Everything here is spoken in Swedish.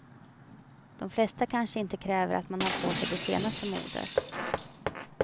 De flesta kanske inte kräver att man har på sig det senaste modet.